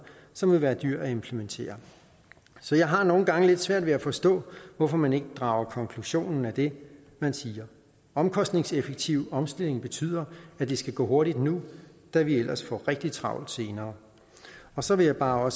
som vil være dyr at implementere så jeg har nogle gange lidt svært ved at forstå hvorfor man ikke drager konklusionen af det man siger omkostningseffektiv omstilling betyder at det skal gå hurtigt nu da vi ellers får rigtig travlt senere så vil jeg bare